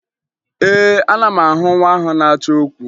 Ee, ana m ahụ nwa ahụ na-achọ okwu